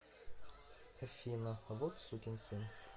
афина вот сукин сын